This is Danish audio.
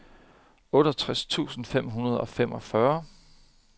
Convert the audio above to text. otteogtres tusind fem hundrede og femogfyrre